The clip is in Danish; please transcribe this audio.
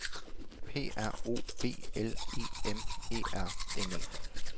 P R O B L E M E R N E